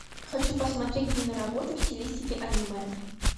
хочу посмотреть киноработу в стилистике аниме